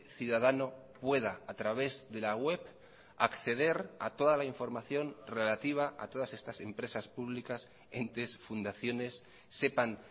ciudadano pueda a través de la web acceder a toda la información relativa a todas estas empresas públicas entes fundaciones sepan